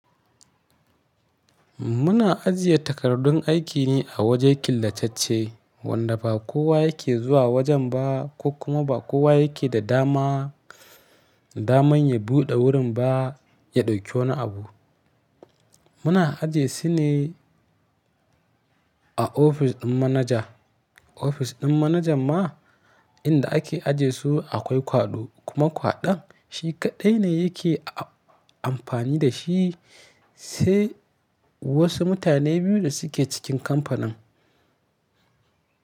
Muna ajiye takardun aiki ne a waje killatacce wanda ba kowa yake zuwa wajen ba kuma ba kowa yake da dama, daman ya buɗe wurin ba ya ɗauki wani abu. Muna ajiye su ne a ofis ɗin manaja. Ofis ɗin manajan ma inda ake ajiye su akwai kwaɗo kuma kwaɗon shi kaɗai ne yake amfani da shi sai wasu mutane biyu da suke cikin kamfanin.